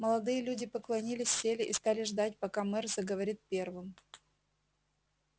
молодые люди поклонились сели и стали ждать пока мэр заговорит первым